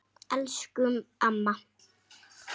Elsku amma.